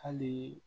Hali